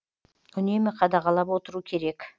үнемі қадағалап отыру керек